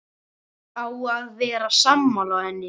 Á að vera sammála henni.